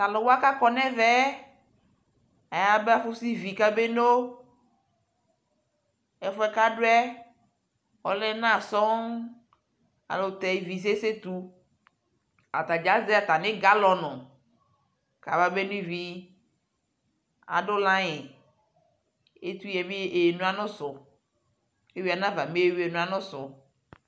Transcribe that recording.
Talʋwa kakɔ nʋ ɛvɛ yɛ ayaba usivi kabeno Ɛfu yɛ kʋ adʋ yɛ ɔla ɛna sɔɔŋ ayʋɛlʋtɛ ivi sesetu Atadza azɛ atami galɔnu kababeno ivi Adʋ laiŋ, etʋyɛ bi eno anʋsʋ, kʋ evi anava mɛ eno anʋsʋ